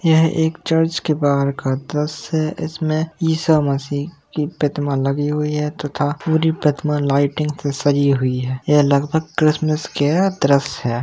यह एक चर्च के बाहर का द्रश्य है इसमें ईसा मसीह की प्रतिमा लगी हुई है तथा पूरी प्रतिमा लाइटिंग से सजी हुई है। यह लगभग क्रिसमस का दृश्य है।